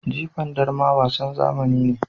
Jifan darma wasan zamani ne.